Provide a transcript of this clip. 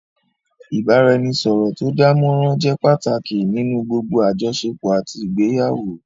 Ìbáraẹnisọ̀rọ̀ tó dánmọrán jẹ́ pàtàkì nínú gbogbo àjọṣepọ̀ àti ìgbéyàwó